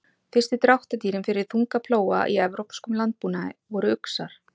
Fyrstu dráttardýrin fyrir þunga plóga í evrópskum landbúnaði voru uxar.